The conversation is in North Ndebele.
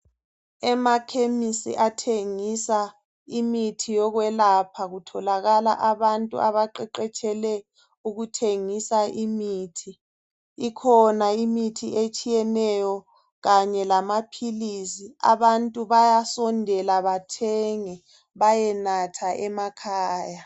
Emakhemisi athengisa imithi yokwelapha kutholakala abantu abaqeqetshele ukuthengisa imithi . Ikhona imithi etshiyeneyo kanye lamaphilisi abantu bayasondela bathenge bayenatha emakhaya .